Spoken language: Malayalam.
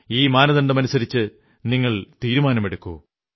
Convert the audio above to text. ഈ മാനദണ്ഡമനുസരിച്ച് നിങ്ങൾ തീരുമാനമെടുക്കൂ